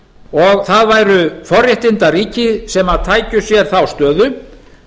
og það væru forréttindaríki sem tækju sér þá stöðu